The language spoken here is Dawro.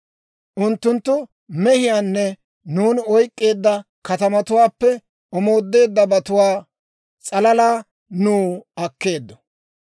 Unttunttu mehiyaanne nuuni oyk'k'eedda katamatuwaappe omoodeeddabatuwaa s'alalaa nuw akkeeddo.